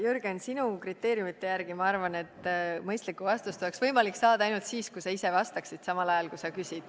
Jürgen, sinu kriteeriumite järgi ma arvan, et mõistlikku vastust oleks võimalik saada ainult siis, kui sa ise vastaksid, samal ajal kui sa küsid.